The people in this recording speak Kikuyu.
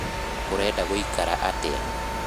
ũrenda gũikara atĩa?